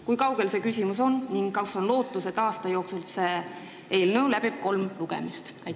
Kui kaugel see küsimus on ning kas on lootust, et aasta jooksul selle sisuga eelnõu läbib kolm lugemist?